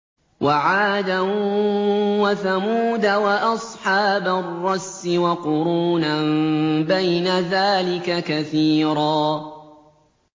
وَعَادًا وَثَمُودَ وَأَصْحَابَ الرَّسِّ وَقُرُونًا بَيْنَ ذَٰلِكَ كَثِيرًا